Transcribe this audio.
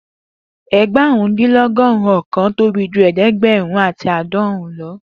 Egbarun-din-dinlọgọrun ọkan tobi ju ẹdẹgbẹrun ati aadọrun lọ